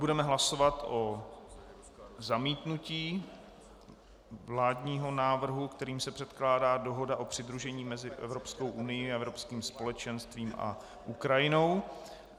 Budeme hlasovat o zamítnutí vládního návrhu, kterým se předkládá dohoda o přidružení mezi Evropskou unií a Evropským společenstvím a Ukrajinou.